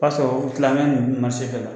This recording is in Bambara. O y'a sɔrɔ u kila mɛ ninnu bɛɛ la.